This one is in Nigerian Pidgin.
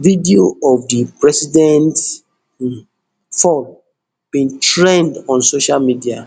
video of di president um fall bin trend on social media